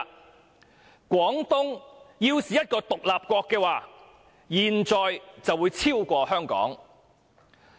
"其後又說："廣東要是一個獨立國的話，現在會超過香港。